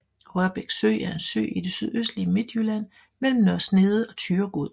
Rørbæk Sø er en sø i det sydøstlige Midtjylland mellem Nørre Snede og Thyregod